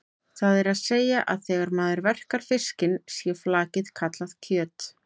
Það er að segja að þegar maður verkar fiskinn sé flakið kallað kjöt.